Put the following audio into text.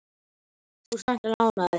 Þú ert væntanlega ánægður?